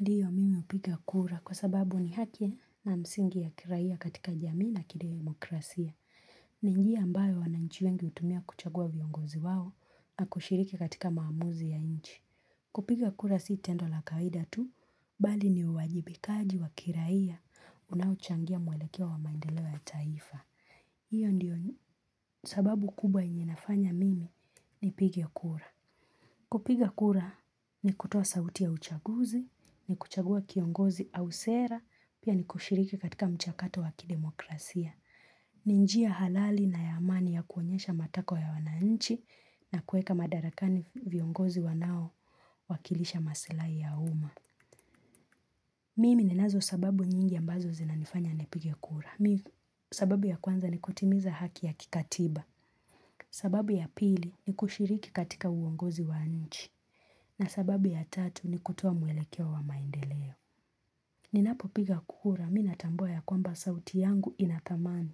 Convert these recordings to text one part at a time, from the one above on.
Ndiyo mimi hupiga kura kwa sababu ni haki na msingi ya kiraiya katika jamii na kidemokrasia. Ni njiya ambayo wananchi wengi hutumia kuchagua viongozi wao na kushiriki katika maamuzi ya inchi. Kupiga kura si tendo la kawaida tu, bali ni uwajibikaji wa kiraiya unaochangia mwelekeo wa maendeleo ya taifa. Hiyo ndiyo sababu kubwa yenye inafanya mimi nipige kura. Kupiga kura ni kutowa sauti ya uchaguzi, ni kuchagua kiongozi au sera, pia ni kushiriki katika mchakato wa kidemokrasia. Ni njiya halali na ya amani ya kuonyesha matako ya wananchi na kueka madarakani viongozi wanao wakilisha masilai ya uma. Mimi ninazo sababu nyingi ambazo zina nifanya nipige kura. Sababu ya kwanza ni kutimiza haki ya kikatiba. Sababu ya pili ni kushiriki katika uongozi wa nchi. Na sababu ya tatu ni kutowa mwelekeo wa maendeleo. Ninapopiga kura mi natambuwa ya kwamba sauti yangu inatamani.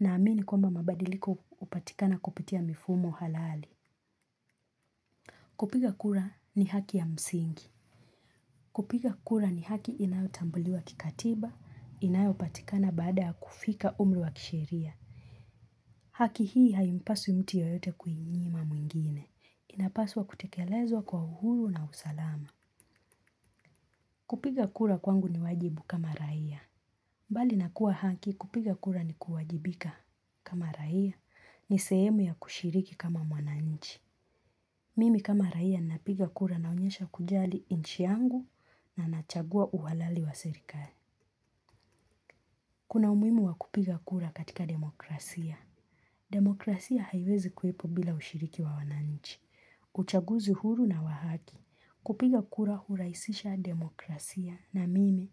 Na amini kwamba mabadiliko upatikana kupitia mifumo halali. Kupiga kura ni haki ya msingi. Kupiga kura ni haki inayotambuliwa kikatiba, inayopatikana baada ya kufika umri wa kisheria. Haki hii haimpasi mtu yoyote kuinyima mwengine. Inapaswa kutekelezwa kwa uhuru na usalama. Kupiga kura kwangu ni wajibu kama raia. Bali nakua haki kupiga kura nikuwajibika kama raia ni sehemu ya kushiriki kama mwananichi. Mimi kama raia napiga kura naonyesha kujali inchi yangu na nachagua uhalali wa serikali. Kuna umuhimu wa kupiga kura katika demokrasia. Demokrasia haiwezi kuwepo bila ushiriki wa wananichi. Uchaguzi huru na wa haki. Kupiga kura huraisisha demokrasia na mimi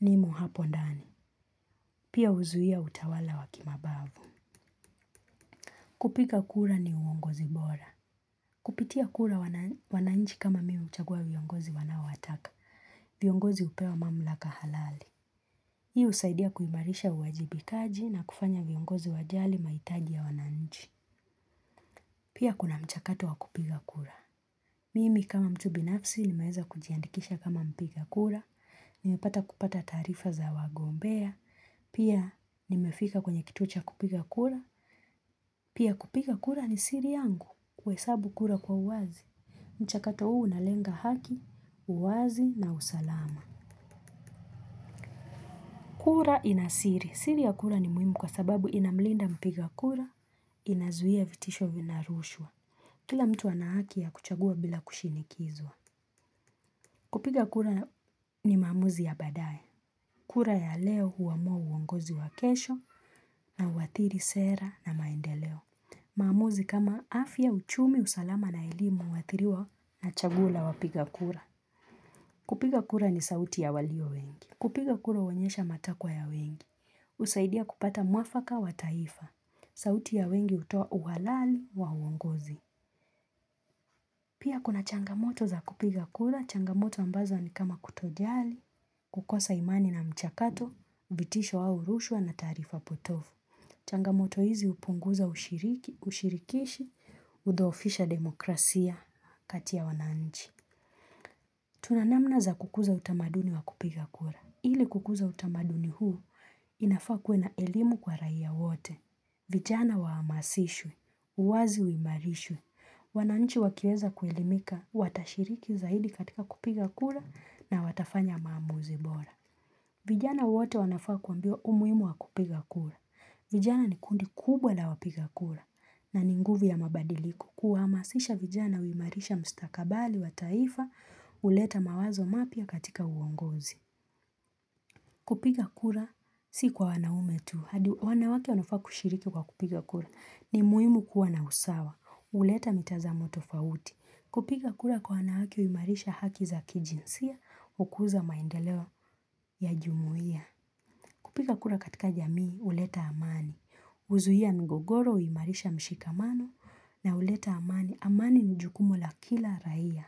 nimo hapo ndani. Pia huzuia utawala wa kimabavu. Kupiga kura ni uongozi bora. Kupitia kura wananchi kama mimi huchagua viongozi wanaowataka. Viongozi hupewa mamlaka halali. Hii usaidia kuimarisha uwajibikaji na kufanya viongozi wajali maitaji ya wananchi. Pia kuna mchakato wa kupiga kura. Mimi kama mtu binafsi nimeweza kujiandikisha kama mpiga kura, nimepata kupata tarifa za wagombea, pia nimefika kwenye kituo cha kupiga kura, pia kupiga kura ni siri yangu kuhesabu kura kwa uwazi. Mchakato huu unalenga haki, uwazi na usalama. Kura ina siri. Siri ya kura ni muhimu kwa sababu inamlinda mpiga kura, inazuia vitisho vinarushwa. Kila mtu ana haki ya kuchagua bila kushinikizwa. Kupiga kura ni maamuzi ya badae kura ya leo huamua uongozi wa kesho na huathiri sera na maendeleo maamuzi kama afya uchumi usalama na elimu huathiriwa na chaguo la wapiga kura kupiga kura ni sauti ya walio wengi kupiga kura huonyesha matakwa ya wengi husaidia kupata muafaka wa taifa sauti ya wengi hutoa uwalali wa uwongozi pia kuna changamoto za kupiga kura changamoto ambazo ni kama kutojali kukosa imani na mchakato, vitisho au rushwa na taarifa potofu. Changamoto hizi hupunguza ushirikishi, hudhoofisha demokrasia kati ya wananchi. Tuna namna za kukuza utamaduni wa kupiga kura. Hili kukuza utamaduni huu, inafaa kuwe na elimu kwa raia wote. Vijana waamasishwe, uwazi uimarishwe. Wananchi wakieza kuelimika, watashiriki zaidi katika kupiga kura na watafanya maamuzi bora. Vijana wote wanafaa kuambiwa umuimu wa kupiga kura. Vijana ni kundi kubwa la wapiga kura. Na ni nguvi ya mabadiliko kuhamasisha vijana huimarisha mstakabali wa taifa huleta mawazo mapya katika uongozi. Kupiga kura si kwa wanaume tu. Wanawake wanafaa kushiriki kwa kupiga kura. Ni muimu kuwa na usawa. Uleta mitazamo tofauti. Kupiga kura kwa wanahaki huimarisha haki za kijinsia ukuza maendeleo ya jumuia. Kupiga kura katika jamii uleta amani. Uzuia migogoro huimarisha mshikamano na uleta amani. Amani nijukumu la kila raia.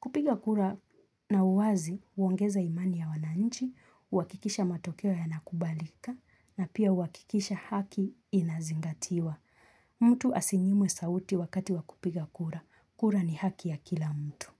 Kupiga kura na uwazi huongeza imani ya wananchi, uwakikisha matokea yanakubalika na pia huakikisha haki inazingatiwa. Mtu asinyimwe sauti wakati wa kupiga kura. Kura ni haki ya kila mtu.